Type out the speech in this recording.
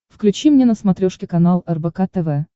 включи мне на смотрешке канал рбк тв